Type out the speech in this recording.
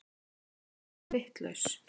Hún yrði vitlaus.